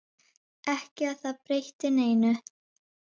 Ekki að það breytti neinu.